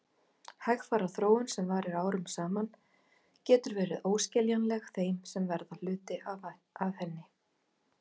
Hægfara þróun sem varir árum saman getur verið óskiljanleg þeim sem verða hluti af henni.